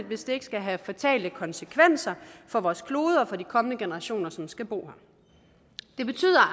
hvis det ikke skal have fatale konsekvenser for vores klode og for de kommende generationer som skal bo